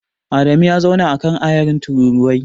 Adamu ya zauna a kan ayarin tururuwai.